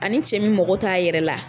A ni cɛ min mago t'a yɛrɛ la